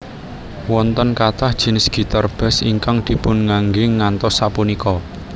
Wonten kathah jinis gitar bass ingkang dipunangge ngantos sapunika